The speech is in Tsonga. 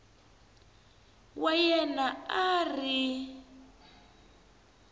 wa yena a a ri